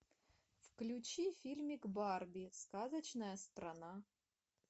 включи фильмик барби сказочная страна